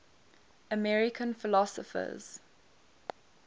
american philosophers